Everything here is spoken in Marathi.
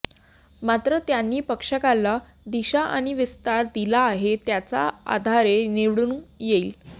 मात्र त्यांनी पक्षाला दिशा आणि विस्तार दिला आहे त्याच्या आधारे निवडून येईल